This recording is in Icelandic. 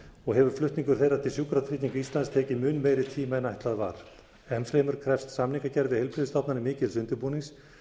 og hefur flutningur þeirra til sjúkratrygginga íslands tekið mun meiri tíma en ætlað var enn fremur krefst samningagerð við heilbrigðisstofnanir mikils undirbúnings